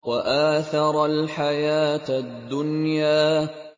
وَآثَرَ الْحَيَاةَ الدُّنْيَا